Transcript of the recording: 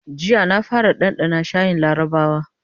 Jiya na fara ɗanɗana shayin larabawa.